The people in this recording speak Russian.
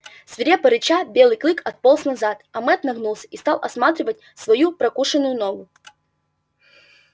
свирепо рыча белый клык отполз назад а мэтт нагнулся и стал осматривать свою прокушенную ногу